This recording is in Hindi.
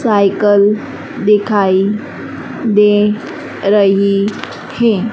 साइकल दिखाई दे रही हैं।